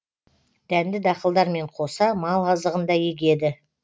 дәнді дақылдармен қоса мал азығын да егеді